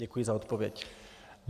Děkuji za odpověď.